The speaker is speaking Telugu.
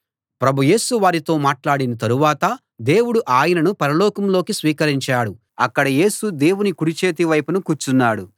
ప్రభు యేసు వారితో మాట్లాడిన తరవాత దేవుడు ఆయనను పరలోకంలోకి స్వీకరించాడు అక్కడ యేసు దేవుని కుడి చేతి వైపున కూర్చున్నాడు